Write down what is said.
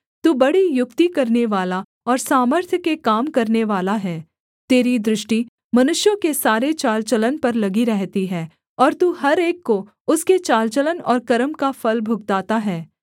तू बड़ी युक्ति करनेवाला और सामर्थ्य के काम करनेवाला है तेरी दृष्टि मनुष्यों के सारे चाल चलन पर लगी रहती है और तू हर एक को उसके चाल चलन और कर्म का फल भुगताता है